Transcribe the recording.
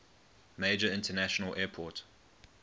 major international airport